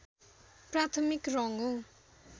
प्राथमिक रङ्ग हो